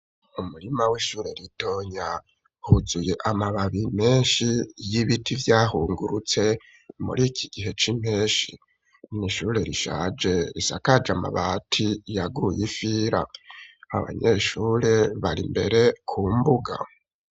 Umurima w'ishure ritonya, wuzuye amababi menshi y'ibiti vyahungurutse muri iki gihe c'impenshi, mw'ishure rishaje risakaje amabati yaguye ifira, abanyeshure bari imbere ku mbuga.